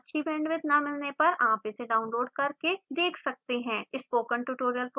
अच्छी bandwidth न मिलने पर आप इसे download करके देख सकते हैं